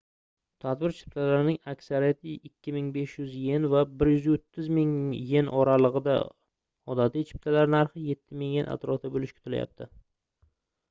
tadbir chiptalarining aksariyati 2500 ¥ va 130 000 ¥ oralig'ida odatiy chiptalar narxi 7000 ¥ atrofida bo'lishi kutilyapti